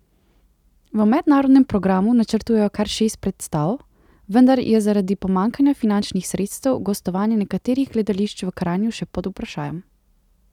V mednarodnem programu načrtujejo kar šest predstav, vendar je zaradi pomanjkanja finančnih sredstev gostovanje nekaterih gledališč v Kranju še pod vprašajem.